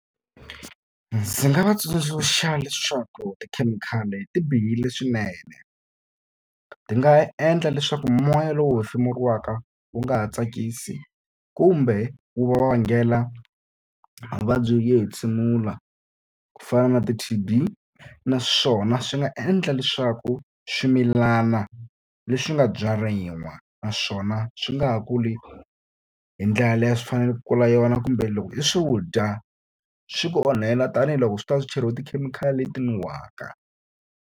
Ndzi nga va tsundzuxa leswaku tikhemikhali ti bihile swinene. Ti nga endla leswaku moya lowu hi pfumeleriwaka wu nga ha tsakisi kumbe wu va vangela vuvabyi byo hentshemula, ku fana na ti-T_B. Naswona swi nga endla leswaku swimilana leswi nga byariwa naswona swi nga ha kuli hi ndlela liya a swi fanele ku kula hi yona, kumbe loko i swi dya, swi ku onhela tanihiloko swi ta va swi cheriwe tikhemikhali leti nuhaka.